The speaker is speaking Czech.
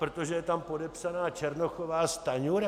Protože je tam podepsaná Černochová, Stanjura?